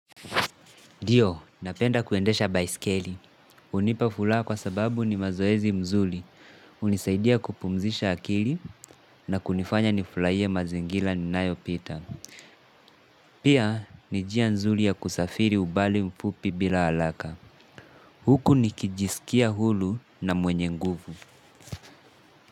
Ndiyo, napenda kuendesha baiskeli. Hunipa furaha kwa sababu ni mazoezi mzuri. Hunisaidia kupumzisha akili na kunifanya nifurahie mazingira ninayopita. Pia, ni njia nzuri ya kusafiri umbali mfupi bila haraka. Huku nikijisikia huru na mwenye nguvu.